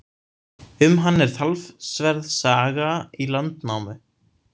Um hann er talsverð saga í Landnámu.